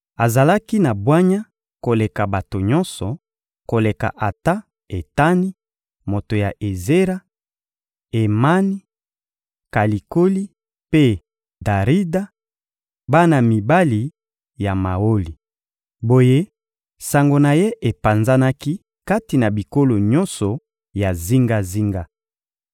Azalaki na bwanya koleka bato nyonso; koleka ata Etani, moto ya Ezera; Emani, Kalikoli mpe Darida, bana mibali ya Maoli. Boye, sango na ye epanzanaki kati na bikolo nyonso ya zingazinga.